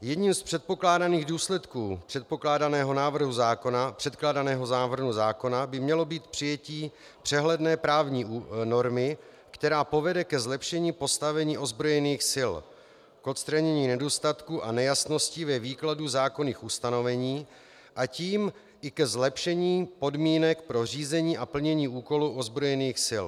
Jedním z předpokládaných důsledků předkládaného návrhu zákona by mělo být přijetí přehledné právní normy, která povede ke zlepšení postavení ozbrojených sil, k odstranění nedostatků a nejasností ve výkladu zákonných ustanovení, a tím i ke zlepšení podmínek pro řízení a plnění úkolů ozbrojených sil.